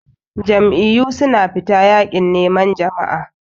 Jam'iyyu suna fita yakin neman jama'a.